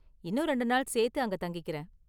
இன்னும் ரெண்டு நாள் சேர்த்து அங்க தங்கிக்கறேன்.